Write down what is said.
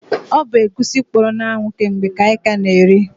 O bu egwusi kpọrọ na anwụ ke mgbe ka anyị ka na eri